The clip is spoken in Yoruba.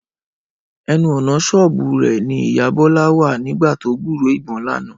Ẹnu ọ̀nà ṣọ́ọ̀bù rẹ̀ ni ìyá Bọ́lá wà nígbà tó gbúròó ìbọn lánàá